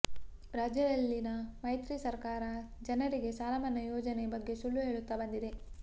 ರಾಜ್ಯದಲ್ಲಿನ ಮೈತ್ರಿ ಸರ್ಕಾರ ಜನರಿಗೆ ಸಾಲಮನ್ನಾ ಯೋಜನೆ ಬಗ್ಗೆ ಸುಳ್ಳು ಹೇಳುತ್ತಾ ಬಂದಿದೆ